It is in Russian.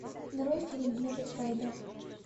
нарой фильм метод фрейда